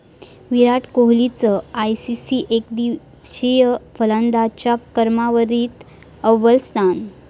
विराट कोहलीचं आयसीसी एकदिवसीय फलंदाजांच्या क्रमवारीत अव्वल स्थान